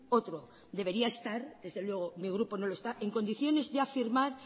otro debería estar desde luego mi grupo no lo está en condiciones de afirmar